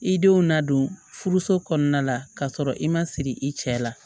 I denw nadon furuso kɔnɔna la kasɔrɔ i ma siri i cɛ la